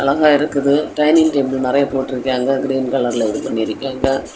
அங்க இருக்குது dining table நிறைய போட்டிருக்கியாங்க கிரீன் கலர்ல இது பண்ணிருக்கியாங்க.